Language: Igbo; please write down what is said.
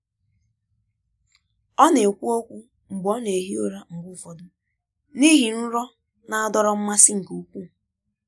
Ọ na-ekwu okwu mgbe ọ na-ehi ụra mgbe ụfọdụ n'ihi nrọ na-adọrọ mmasị nke ukwuu.